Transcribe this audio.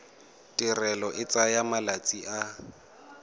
tirelo e tsaya malatsi a